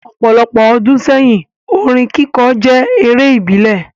Opolopo odun seyin, orin kikọ je ere ibile